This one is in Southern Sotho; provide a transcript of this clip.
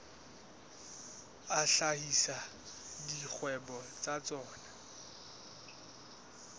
a hlahisa dikgwebo tsa tsona